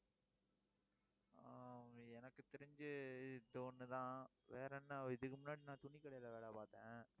ஆஹ் எனக்கு தெரிஞ்சி இது ஒண்ணுதான் வேற என்ன இதுக்கு முன்னாடி நான் துணிக்கடையில வேலை பார்த்தேன்.